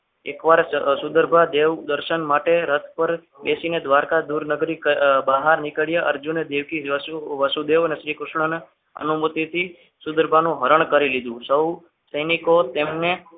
એકવાર સુગર ભા દેવ દર્શન માટે રથ પર બેસીને દ્વારકા દૂર નગરી બહાર નીકળ્યા અર્જુનને દેવકી વસુદેવ અને શ્રીકૃષ્ણને અનુમતિથી સુગરભાનું હરણ કરી લીધું સૌ સૈનિકો તેમને